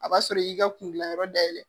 A b'a sɔrɔ i y'i ka kun gilan yɔrɔ dayɛlɛ